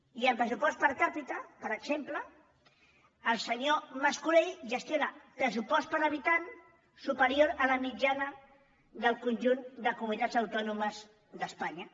i en pressupost per capita per exemple el senyor mas colell gestiona un pressupost per habitant superior a la mitjana del conjunt de comunitats autònomes d’espanya